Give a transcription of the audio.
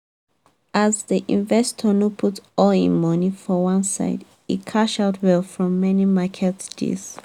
as the investor no put all him money for one e cash out well from many market deals.